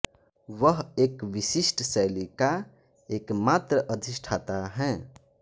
वह एक विशिष्ट शैली का एकमात्र अधिष्ठाता है